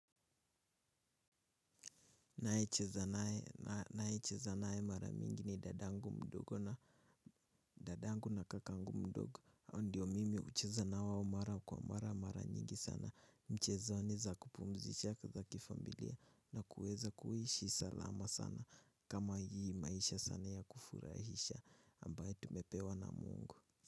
Ninaye cheza nae mara mingi ni dadangu mdogo na dadangu na kakangu mdogo ndio mimi hucheza na wao mara kwa mara mara nyingi sana mchezoni za kupumzisha za kifamilia na kuweza kuishi salama sana kama hii maisha sana ya kufurahisha ambaye tumepewa na mungu.